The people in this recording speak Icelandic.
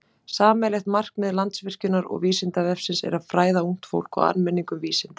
Sameiginlegt markmið Landsvirkjunar og Vísindavefsins er að fræða ungt fólk og almenning um vísindi.